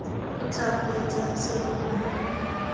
o tla kgweetsang serori mo